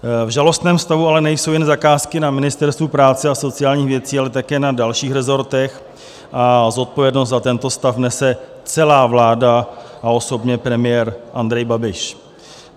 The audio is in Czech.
V žalostném stavu ale nejsou jen zakázky na Ministerstvu práce a sociálních věcí, ale také na dalších resortech a zodpovědnost za tento stav nese celá vláda a osobně premiér Andrej Babiš.